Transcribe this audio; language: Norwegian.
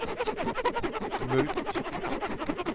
mulkt